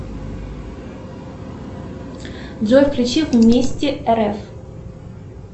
джой включи вместе рф